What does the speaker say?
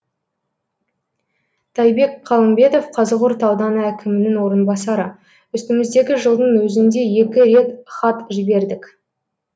тайбек қалымбетов қазығұрт ауданы әкімінің орынбасары үстіміздегі жылдың өзінде екі рет хат жібердік